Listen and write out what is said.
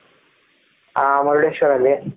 ಹ ಮುರುಡೇಶ್ವರ ಅಲ್ಲಿ